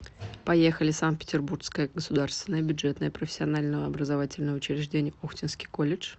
поехали санкт петербургское государственное бюджетное профессиональное образовательное учреждение охтинский колледж